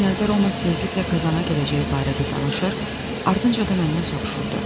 Son günlərdə Romas tezliklə Kazana gedəcəyi barədə danışır, ardınca da məndən soruşurdu: